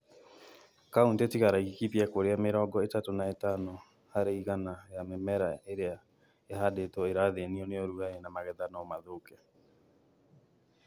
Kauntĩ tiga Laikipia kũrĩa mĩrongo ĩtatũ na itano harĩ igana ya mĩmera ĩrĩa ĩhandĩtwo ĩrathĩnio nĩ ũrugarĩ na magetha no mathũke.